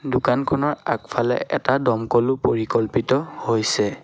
দোকানখনৰ আগফালে এটা দমকলও পৰিকল্পিত হৈছে।